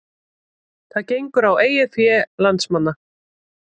Það gengur á eigið fé landsmanna